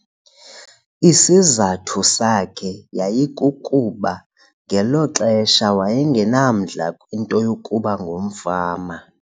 Isizathu sakhe yayikukuba ngelo xesha waye ngenamdla kwinto yokuba ngumfama.